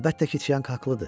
Əlbəttə ki, Çianq haqlıdır.